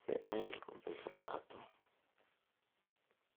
si ay u bislaato.